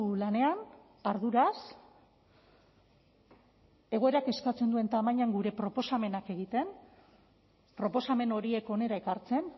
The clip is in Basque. lanean arduraz egoerak eskatzen duen tamainan gure proposamenak egiten proposamen horiek hona ekartzen